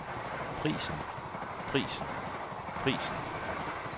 prisen prisen prisen